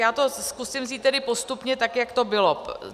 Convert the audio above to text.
Já to zkusím vzít tedy postupně tak, jak to bylo.